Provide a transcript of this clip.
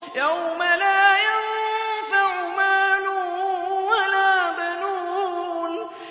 يَوْمَ لَا يَنفَعُ مَالٌ وَلَا بَنُونَ